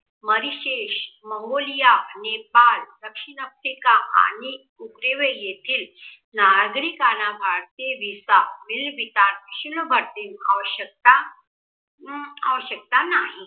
Mongolia, Nepal, दक्षिण, Africa आणि उग्रीवे नागरिकांना भारतीय विस्तार विका आवश्यकता अं आवश्यकता नाही